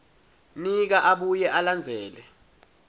nika abuye alandzele